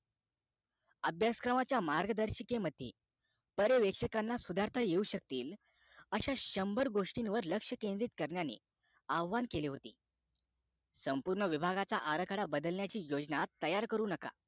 अभ्यासक्रमाच्या मार्गदर्शिकेमध्ये पार्वेक्षकांना सुधारता येऊ शकतील अश्या शंभर गोष्टीवर लक्ष्य केंद्रित करण्याने आव्हान केले होते संपूर्ण विभाचा आराखडा बदलण्याची योजना तयार करू नका